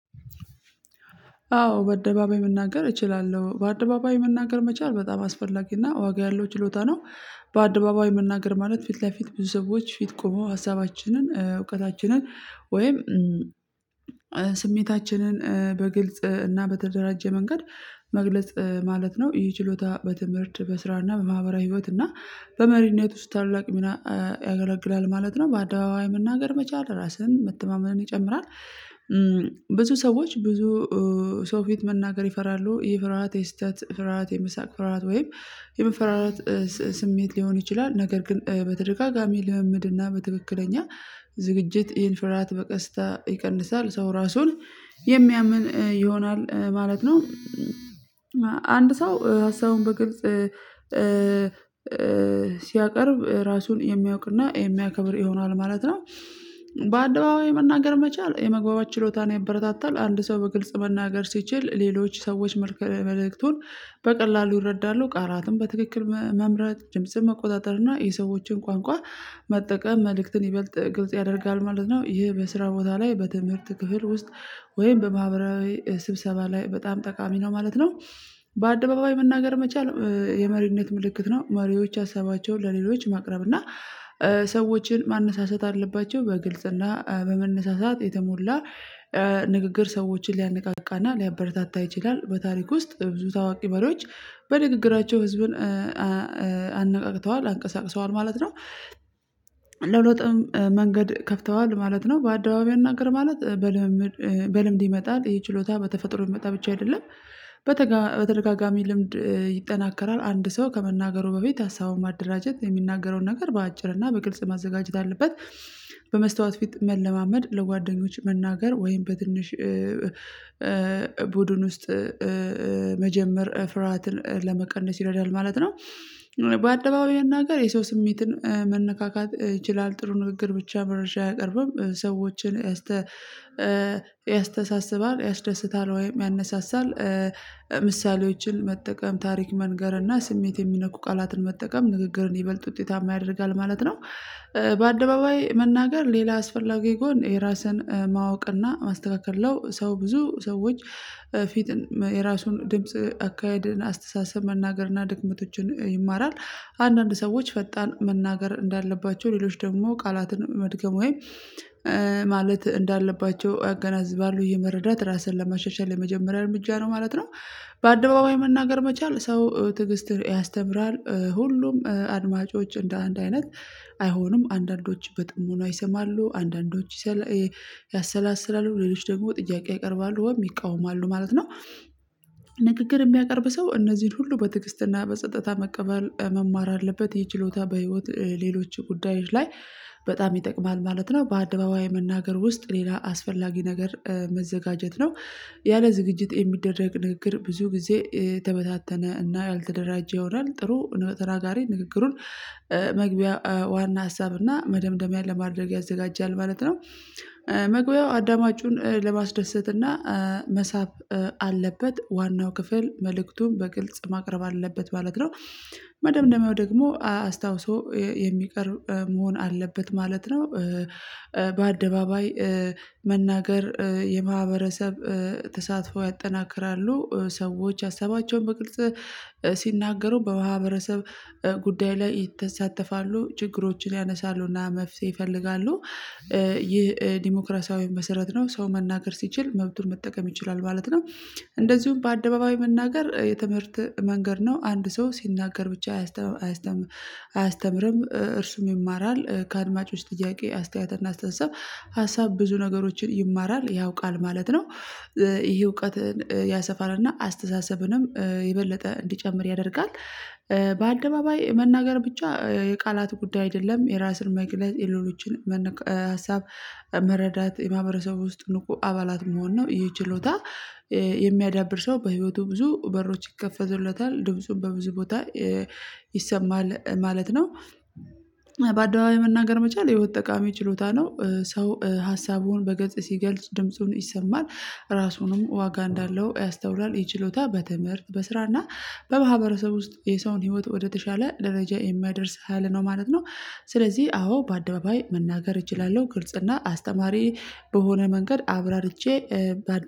አዎ በአደባባይ መናገር እችላለሁ በአደባባይ መናገር መቻል በጣም አስፈላጊና ዋጋ ያለው ችሎታ ነው። በአደባባይ መናገር ማለት ፊት ለፊት ብዙ ሰዎች ፊት ቆም ሀሳባችንን እውቀታችንን ወይም ስሜታችንን በግልጽ እና በተደራጀ መንገድ መግለጽ ማለት ነው ይህ ችሎታ በትምህርት በስራና በማህበራዊ ህይወት እና በመሪነት ውስጥ ታላቅ ሚና ያገለግላል ማለት ነው በአደባባይ መናገር መቻል ራስን መተማመንን ይጨምራል። ብዙ ሰዎች ብዙ ሰው ፊት መናገር ይፈራሉ ይሄ ፍርሃት የስህተት ፍርሃት የመሳቅ ፍርሃት ወይም የመፈራራት ስሜት ሊሆን ይችላል ነገር ግን በተደጋጋሚ ልምምድ እና በትክክለኛ ዝግጅት ይህን ፍርሃት በቀስታ ይቀንሳል ሰው ራሱን የሚያምን ይሆናል ማለት ነው። አንድ ሰው ሀሳቡን በግልጽ ሲያቀርብ ራሱን የሚያውቅና የሚያከብር ይሆናል ማለት ነው። በአደባባይ መናገር መቻል የመግባባት ችሎታን ያበረታታል አንድ ሰው በግልጽ መናገር ሲችል ሌሎች ሰዎች መልእክቱን በቀላሉ ይረዳሉ ቃላትም በትክክል መምረጥ ድምጽን መቆጣጠር እና የሰዎችን ቋንቋ መጠቀም መልእክትን ይበልጥ ግልጽ ያደርጋል ማለት ነው። ይሄ በስራ ቦታ ላይ በትምህርት ክፍል ውስጥ ወይም በማህበራዊ ስብሰባ ላይ በጣም ጠቃሚ ነው ማለት ነው። በአደባባይ መናገር መቻል የመሪነት ምልክት ነው መሪዎች ሀሳባቸውን ለሌሎች ማቅረብ እና ሰዎችን ማነሳሳት አለባቸው በግልጽና በመነሳሳት የተሞላ ንግግር ሰዎችን ሊያነቃቃና ሊያበረታታ ይችላል በታሪክ ውስጥ ብዙ ታዋቂ መሪዎች በንግግራቸው ህዝብን አነቃቅተዋል አንቀሳቅሰዋል ማለት ነው። ለሁለትም መንገድ ከፍተዋል ማለት ነው በአደባባይ እንናገር ማለት በልምምድ በልምድ ይመጣል ይሄ ችሎታ በተፈጥሮ የሚመጣ ብቻ አይደለም። በተደጋጋሚ ልምድ ይጠናከራል አንድ ሰው ከመናገሩ በፊት ሀሳቡን ማደራጀት የሚናገረውን ነገር በአጭር እና በግልጽ ማዘጋጀት አለበት። በመስታወት ፊት መለማመድ ለጓደኞች መናገር ወይም በትንሽ ቡድን ውስጥ መጀመር ፍርሃትን ለመቀነስ ይረዳል ማለት ነው። በአደባባይ መናገር የሰው ስሜትን መነካካት ይችላል ጥሩ ንግግር ብቻ መረጃ አያቀርብም ሰዎችን እስተ ያስተሳስባል ያስደስታል ወይም ያነሳሳል ምሳሌዎችን መጠቀም ታሪክ መንገር እና ስሜት የሚነኩ ቃላትን መጠቀም ንግግርን ይበልጥ ውጤታማ ያደርጋል ማለት ነው። በአደባባይ መናገር ሌላ አስፈላጊ ጎን የራስን ማወቅና ማስተካከል ለው ሰው ብዙ ሰዎች ፊት የራሱን ድምጽ አካሄድን አስተሳሰብ መናገርና ድክመቶችን ይማራል። አንዳንድ ሰዎች ፈጣን መናገር እንዳለባቸው ሌሎች ደግሞ ቃላትን መድገም ወይም ማለት እንዳለባቸው አገናዝባለሁ ይህ መረዳት ራስን ለማሻሻል የመጀመሪያ እርምጃ ነው ማለት ነው። በአደባባይ መናገር መቻል ሰው ትዕግስትን ያስተምራል ሁሉም አድማጮች እንደ አንድ አይነት አይሆንም አንዳንዶች በጥሞና ይሰማሉ አንዳንዶች ያሰላስላሉ ሌሎች ደግሞ ጥያቄ ያቀርባሉ ወይም ይቃወማሉ ማለት ነው። ንግግር የሚያቀርብ ሰው እነዚህን ሁሉ በትግስትና በጸጥታ መቀበል መማር አለበት ይህ ችሎታ በህይወት ሌሎች ጉዳዮች ላይ በጣም ይጠቅማል ማለት ነው። በአደባባይ መናገር ውስጥ ሌላ አስፈላጊ ነገር መዘጋጀት ነው። ያለ ዝግጅት የሚደረግ ንግግር ብዙ ጊዜ የተበታተነ እና ያልተደራጀ ይሆናል ጥሩ ተናጋሪ ንግግሩን መግቢያ ዋና ሀሳብ እና መደምደሚያ ለማድረግ ያዘጋጃል ማለት ነው። መግቢያው አዳማጩን ለማስደሰትና መሳብ አለበት ዋናው ክፍል መልእክቱን በግልጽ ማቅረብ አለበት ማለት ነው። መደምደሚያው ደግሞ አስታውሶ የሚቀርብ መሆን አለበት ማለት ነው። በአደባባይ መናገር የማህበረሰብ ተሳትፎ ያጠናክራሉ ሰዎች ሀሳባቸውን በቅልጽ ሲናገሩ በማህበረሰብ ጉዳይ ላይ ይተሳተፋሉ ችግሮችን ያነሳሉና መፍትሄ ይፈልጋሉ። ይህ ዲሞክራሲያዊ መሰረት ነው ሰው መናገር ሲችል መብቱን መጠቀም ይችላል ማለት ነው። እንደዚሁም በአደባባይ መናገር የትምህርት መንገድ ነው አንድ ሰው ሲናገር ብቻ አያስተምርም እርሱም ይማራል ከአድማጮች ጥያቄ አስተያየት እና አስተሳሰብ ሀሳብ ብዙ ነገሮችን ይማራል ያውቃል ማለት ነው። ይሄ እውቀትን ያሰፋልና አስተሳሰብንም የበለጠ እንዲጨምር ያደርጋል። በአደባባይ መናገር ብቻ የቃላት ጉዳይ አይደለም የራስን መግለጽ የሌሎችን ሀሳብ መረዳት የማህበረሰቡ ውስጥ ንቁ አባላት መሆን ነው ይሄ ችሎታ የሚያዳብር ሰው በህይወቱ ብዙ በሮች ይከፈቱለታል ድምጹን በብዙ ቦታ ይሰማል ማለት ነው። በአደባባይ መናገር መቻል የህይወት ጠቃሚ ችሎታ ነው ሰው ሀሳቡን በግልጽ ሲገልጽ ድምጹን ይሰማል ራሱንም ዋጋ እንዳለው ያስተውላል ይህ ችሎታ በትምህርት በስራና በማህበረሰቡ ውስጥ የሰውን ህይወት ወደተሻለ ደረጃ የሚያደርስ ሀይል ነው ማለት ነው። ስለዚህ አዎ በአደባባይ መናገር እችላለሁ ግልጽና አስተማሪ በሆነ መንገድ አብራርቼ